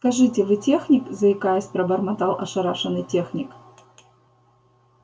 скажите вы техник заикаясь пробормотал ошарашенный техник